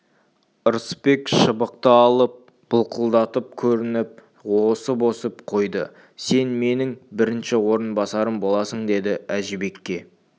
ырысбек шыбықты алып былқылдатып көріп ауаны осып-осып қойды сен менің бірінші орынбасарым боласың деді әжібекке